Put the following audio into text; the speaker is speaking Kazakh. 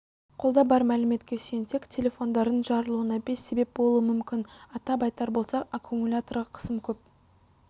қолда бар мәліметке сүйенсек телефондардың жарылуына бес себеп болуы мүмкін атап айтар болсақ аккумуляторға қысым көп